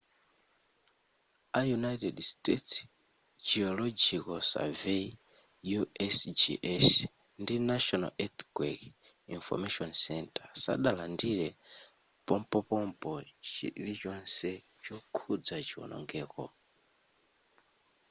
a united states geological survey usgs ndi national earthquake information center sadalandire pompopompo chilichonse chokhudza chionongeko